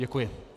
Děkuji.